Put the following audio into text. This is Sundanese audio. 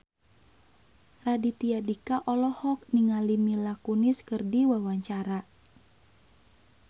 Raditya Dika olohok ningali Mila Kunis keur diwawancara